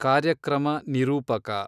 ಕಾರ್ಯಕ್ರಮ ನಿರೂಪಕ